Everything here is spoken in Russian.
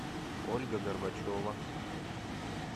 ольга горбачева